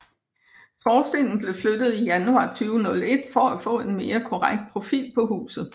Skorstenen blev flyttet i januar 2001 for at få en mere korrekt profil på huset